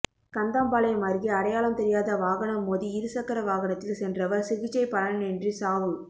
கந்தம்பாளையம் அருகே அடையாளம் தெரியாத வாகனம் மோதி இரு சக்கர வாகனத்தில் சென்றவா் சிகிச்சை பலனின்றி சாவு